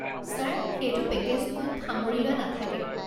Sir, সেইটো পেকেজটোত সামৰি লোৱা নাথাকে।